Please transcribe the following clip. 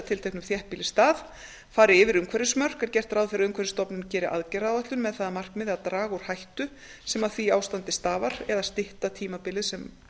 tilteknum þéttbýlisstað fari yfir umhverfismörk er gert ráð fyrir að umhverfisstofnun geri aðgerðaáætlun með það að markmiði að draga úr hættu sem af því ástandi stafar eða stytta tímabilið sem